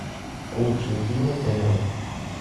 лучшие фильмы кэмерона